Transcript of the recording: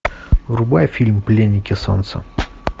врубай фильм пленники солнца